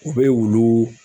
U be wuluu